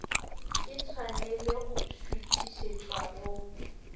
e tshwanele go šuithišetšwa go